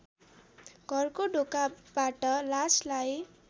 घरको ढोकाबाट लासलाई